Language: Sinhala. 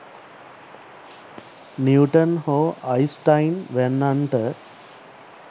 නිව්ටන් හෝ අයින්ස්ටයින් වෑන්නන්ට